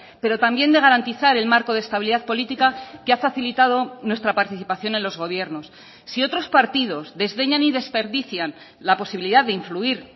pero también de garantizar el marco de estabilidad política que ha facilitado nuestra participación en los gobiernos sí otros partidos desdeñan y desperdician la posibilidad de influir